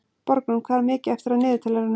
Borgrún, hvað er mikið eftir af niðurteljaranum?